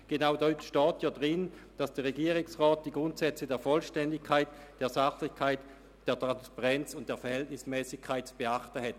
Genau dort steht, dass der Regierungsrat die Grundsätze der Vollständigkeit, der Sachlichkeit, der Transparenz und der Verhältnismässigkeit zu beachten habe.